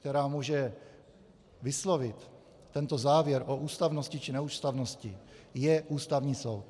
která může vyslovit tento závěr o ústavnosti či neústavnosti, je Ústavní soud.